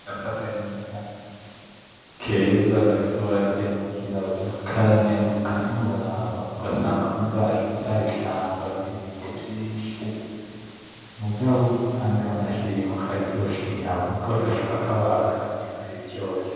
Agasakanyika keza gafise ububara bwera, nubwirabura, karanyaruka ntiworaba. Ugasanga muri vyabishamba birimwo ibiti vyinshi, mugabo kandi wanashima kararyosha inyama, ugafashe ukakabaga inyama yayo iba iryoshe.